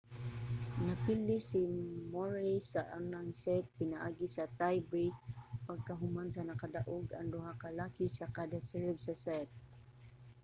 napildi si murray sa unang set pinaagi sa tie break pagkahuman nakadaog ang duha ka lalaki sa kada serve sa set